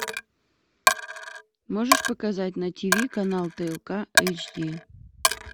можешь показать на тв канал тлк эйч ди